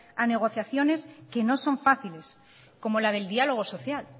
a negociaciones que no son fáciles como la del diálogo social